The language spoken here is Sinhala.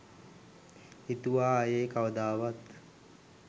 හිතුවා ආයෙ කවදාවත්.